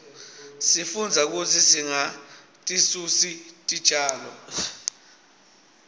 sifundza kutsi singatisusi titjalo